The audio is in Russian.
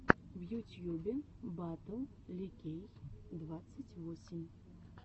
в ютьюбе батл ликей двадцать восемь